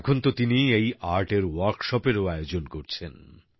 এখন তো তিনি এই স্কিল্পের কর্মশালাও আয়োজন করছেন